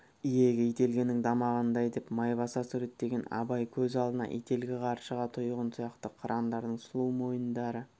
иегі ителгінің тамағындай деп майбасар суреттеген абай көз алдына ителгі қаршыға тұйғын сияқты қырандардың сұлу мойындарын